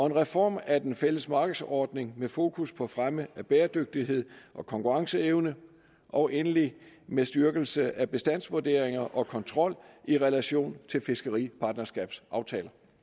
en reform af den fælles markedsordning med fokus på fremme af bæredygtighed og konkurrenceevne og endelig med styrkelse af bestandsvurderinger og kontrol i relation til fiskeripartnerskabsaftaler